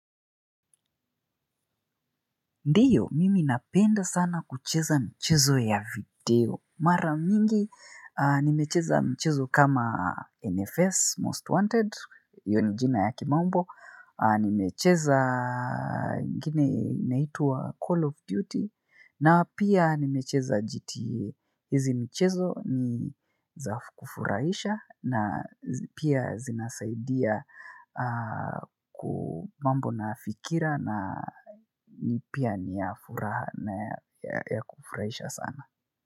Ndio, mimi napenda sana kucheza michezo ya video. Mara mingi, nimecheza mchezo kama NFS, Most Wanted, hio ni jina ya kimombo, nimecheza ingine inaitwa Call of Duty, na pia nimecheza GTE. Hizi michezo ni za kufurahisha na pia zinasaidia mambo na fikira na pia ni ya furaha ya kufurahisha sana.